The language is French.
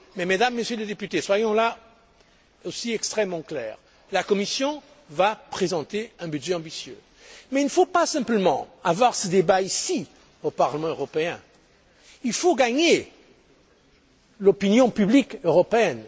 l'Europe. Mais, Mesdames et Messieurs les députés, soyons là aussi extrêmement clairs la Commission va présenter un budget ambitieux mais il ne faut pas simplement tenir ce débat ici, au Parlement européen, il faut gagner l'opinion publique européenne.